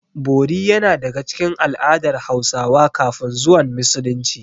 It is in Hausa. Bori yana daga cikin al'adar Hausawa kafin zuwan Musulunci.